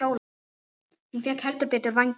Hún fékk heldur betur vængi.